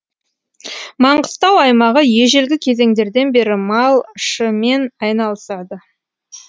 маңғыстау аймағы ежелгі кезеңдерден бері малшымен айналысады